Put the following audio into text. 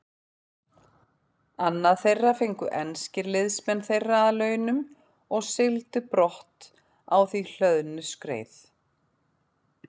Annað þeirra fengu enskir liðsmenn þeirra að launum og sigldu brott á því hlöðnu skreið.